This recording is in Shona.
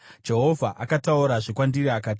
Jehovha akataurazve kwandiri akati,